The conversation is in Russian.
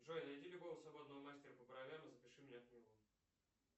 джой найди любого свободного мастера по бровям и запиши меня к нему